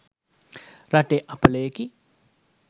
රටේ අපලයකි